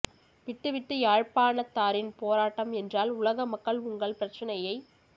விட்டு விட்டு யாழ்ப்பாணத்தாரின் போராட்டம் என்றால் உலக மக்கள் உங்கள் பிரச்சினையை